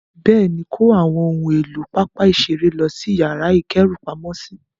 Bẹ́ẹ̀ni, kó àwọn ohun èlò pápá ìṣeré lọ sí yàrá ìkẹ́rùpamọ́sí.